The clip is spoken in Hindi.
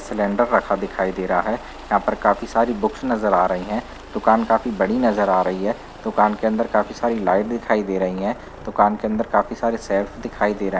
सिलेंडर रखा दिखाई दे रहा है। यहाँ पर काफी सारी बुक्स नजर आ रही हैं। दुकान काफी बड़ी नजर आ रही है। दुकान के अंदर काफी सारी लाइट दिखाई दे रही हैं। दुकान के अंदर काफी सारी शेल्फ दिखाई दे रहा --